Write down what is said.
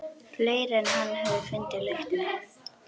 Fleiri en hann höfðu fundið lyktina.